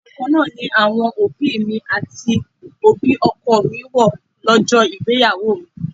Aṣọ kan náà ni àwọn òbí mi àti òbí ọkọ mi wó lọ́jọ́ ìgbéyàwó mi.